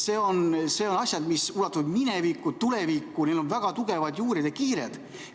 Need on asjad, mis ulatuvad minevikku ja tulevikku, neil on väga tugevad juured ja kiired.